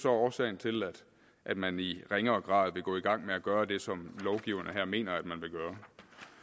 årsagen til at man i ringere grad vil gå i gang med at gøre det som lovgiverne her mener man vil gøre